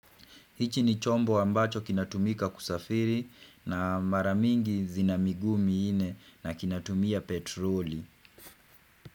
Hichi ni chombo ambacho kinatumika kusafiri na mara mingi zina miguu minne na kinatumia petroli.